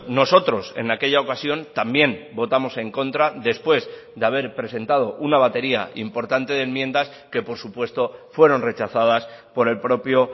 nosotros en aquella ocasión también votamos en contra después de haber presentado una batería importante de enmiendas que por supuesto fueron rechazadas por el propio